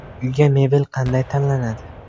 Uyga mebel qanday tanlanadi?.